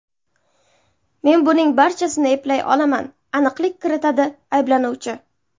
Men buning barchasini eplay olaman”, aniqlik kiritadi ayblanuvchi.